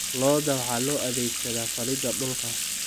Lo'da waxaa loo adeegsadaa falidda dhulka.